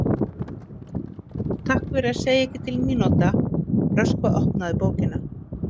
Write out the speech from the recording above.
„Takk fyrir að segja ekki til mínúta“ Röskva opnaði bókina.